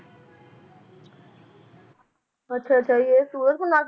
ਅੱਛਾ ਅੱਛਾ ਜੀ ਇਹ ਸੂਰਜ ਕੋਨਾਰਕ